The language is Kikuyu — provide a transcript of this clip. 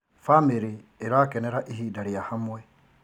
Bamĩrĩ ĩrakenera ihinda rĩa hamwe.